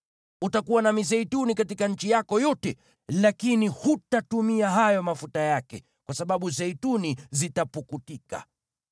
Utakuwa na mizeituni katika nchi yako yote, lakini hutatumia hayo mafuta yake, kwa sababu zeituni zitapukutika.